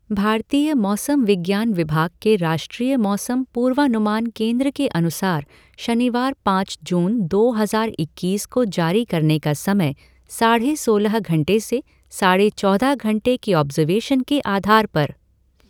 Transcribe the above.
भारतीय मौसम विज्ञान विभाग के राष्ट्रीय मौसम पूर्वानुमान केंद्र के अनुसार शनिवार पाँच जून दो हज़ार इक्कीस को जारी करने का समयः साढ़े सोलह घंटे से साढ़े चोदह घंटे के ऑब्ज़र्वेशन के आधार पर